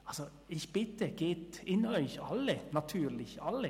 Also, ich bitte Sie, gehen Sie in sich – alle, natürlich alle.